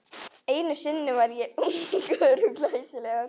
Einu sinni var ég ungur og glæsilegur.